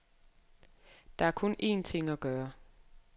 Der er kun en ting at gøre.